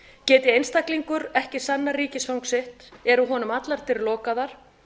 geti einstaklingur ekki sannað ríkisfang sitt eru honum allar dyr lokaðar